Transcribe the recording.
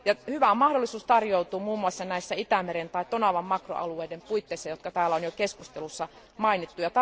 Hyvä mahdollisuus tarjoutuu muun muassa näissä Itämeren tai Tonavan makroalueiden puitteissa, jotka täällä on jo keskustelussa mainittu.